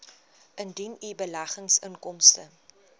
indien u beleggingsinkomste